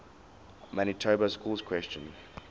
manitoba schools question